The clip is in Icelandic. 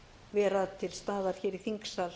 vera til staðar í þingsal